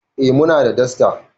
Eh muna da dasta